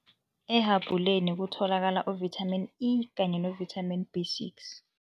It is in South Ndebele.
Ehabhuleni kutholakala u-Vitamin E kanye no-Vitamin B six.